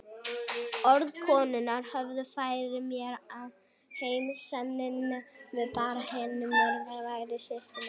Orð konunnar höfðu fært mér heim sanninn um að barnið hennar Mörtu væri systkini mitt.